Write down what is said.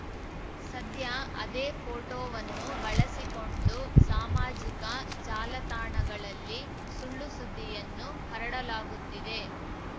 ಸದ್ಯ ಅದೇ ಫೋಟೋವನ್ನು ಬಳಸಿಕೊಂಡು ಸಾಮಾಜಿಕ ಜಾಲತಾಣಗಳಲ್ಲಿ ಸುಳ್ಳುಸುದ್ದಿಯನ್ನು ಹರಡಲಾಗುತ್ತಿದೆ